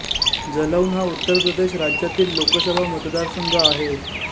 जलौन हा उत्तर प्रदेश राज्यातील लोकसभा मतदारसंघ आहे